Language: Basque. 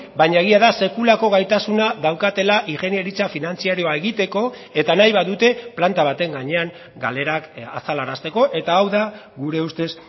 baina egia da sekulako gaitasuna daukatela ingeniaritza finantzarioa egiteko eta nahi badute planta baten gainean galerak azalarazteko eta hau da gure ustez